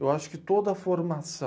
Eu acho que toda a formação.